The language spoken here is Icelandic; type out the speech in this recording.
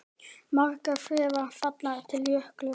Margar þverár falla til Jöklu.